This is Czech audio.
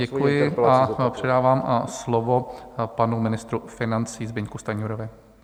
Děkuji a předávám slovo panu ministru financí Zbyňku Stanjurovi.